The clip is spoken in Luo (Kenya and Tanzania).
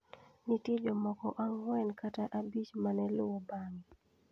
Nitie jomoko ang'wen kata abich ma ne luwo bang'e.